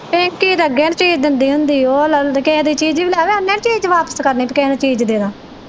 ਪਿੰਕੀ ਤੇ ਅੱਗੇ ਨਹੀਂ ਚੀਜ਼ ਦਿੰਦੀ ਹੁੰਦੀ ਉਹ ਕਿਹੇ ਦੀ ਚੀਜ਼ ਵੀ ਲਿਆਵੇ ਉਹਨੇ ਨਹੀਂ ਚੀਜ਼ ਵਾਪਿਸ ਕਰਨੀ ਕੇ ਕਿਹੇ ਨੂੰ ਚੀਜ਼ ਦੇਦਾ।